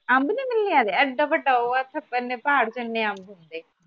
ਅੰਬ ਨਹੀਂ ਮਿਲਨੇ ਅਜੇ ਏਡਾ ਵੱਡਾ ਉਹ ਏ ਇੱਥੇ ਹਨ ਪਹਾੜ ਚ ਏਨੇ ਅੰਬ ਹੁੰਦੇ